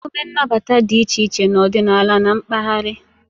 Emume nnabata dị iche iche n'ọdịnala na mpaghara.